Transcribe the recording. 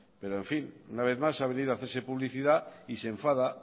pero en fin una vez más ha venido a hacerse publicidad y se enfada